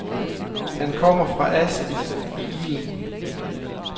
Han kommer fra asken i ilden.